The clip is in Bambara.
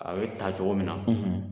A be ta cogo min na